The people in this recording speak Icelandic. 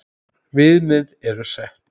Viðmið eru sett.